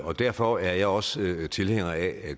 derfor er jeg også tilhænger af